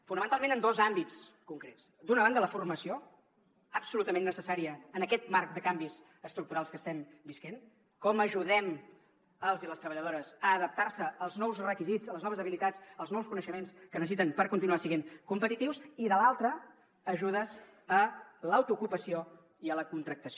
fonamentalment en dos àmbits concrets d’una banda la formació absolutament necessària en aquest marc de canvis estructurals que estem vivint com ajudem els i les treballadores a adaptar se als nous requisits a les noves habilitats als nous coneixements que necessiten per continuar sent competitius i de l’altra ajudes a l’autoocupació i a la contractació